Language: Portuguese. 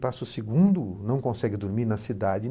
Passa o segundo, não consegue dormir na cidade.